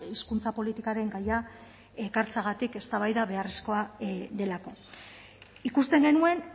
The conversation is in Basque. hizkuntza politikaren gaia ekartzeagatik eztabaida beharrezkoa delako ikusten genuen